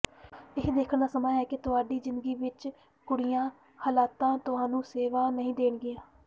ਇਹ ਦੇਖਣ ਦਾ ਸਮਾਂ ਹੈ ਕਿ ਤੁਹਾਡੀ ਜ਼ਿੰਦਗੀ ਵਿਚ ਕਿਹੜੀਆਂ ਹਾਲਤਾਂ ਤੁਹਾਨੂੰ ਸੇਵਾ ਨਹੀਂ ਦੇਣਗੀਆਂ